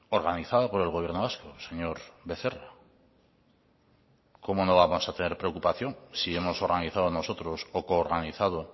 organizado por el gobierno vasco señor becerra cómo no vamos a tener preocupación si hemos organizado nosotros o coorganizado